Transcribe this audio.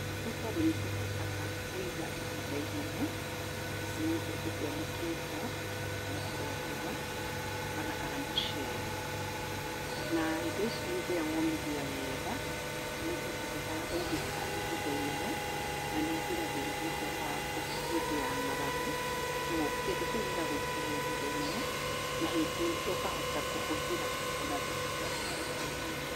Nĩ tondũ nĩtũhotaga kũiga ihinda inene, ici nĩ mbembe cianĩkĩtwo, cikanĩkĩrwo riũwa ona kana mũcere. Na indo ici hĩndĩ ĩrĩa womithia wega, nĩihotekekaga kũigĩka ihinda inene, na nĩ igiragĩrĩria ũhoro wa hĩndĩ ya ng'aragu, koguo kĩndũ kĩu gĩgagũikarĩra ihinda inene na ũkahota kũhũthĩra ona thutha wa ihinda.